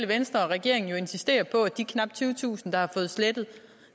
venstre og regeringen jo insistere på at de knap tyvetusind der har fået slettet